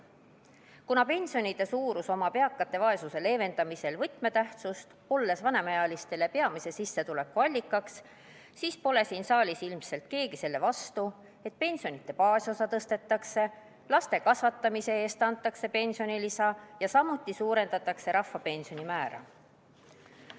Kuna pensionide suurus on eakate vaesuse leevendamisel võtmetähtsusega, olles vanemaealistele peamiseks sissetuleku allikaks, siis pole siin saalis ilmselt keegi selle vastu, et pensionide baasosa tõstetakse, laste kasvatamise eest antakse pensionilisa ja samuti suurendatakse rahvapensioni määra.